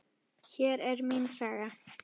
Hér er mín saga.